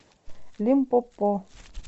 лимпопо